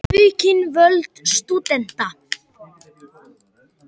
Vilja aukin völd stúdenta